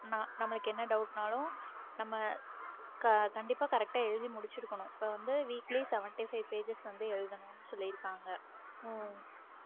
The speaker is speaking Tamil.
ந~ நமக்கு என்ன doubt னாலும் நம்ம க~ கண்டிப்பா correct ஆ எழுதி முடிச்சிருக்கணும் இப்ப வந்து weekly seventy-five pages வந்து எழுதணும்னு சொல்லியிருக்காங்க.